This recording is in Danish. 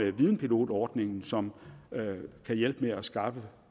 er videnpilotordningen som kan hjælpe med til at skaffe